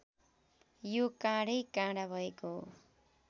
यो काँढै काँढा भएको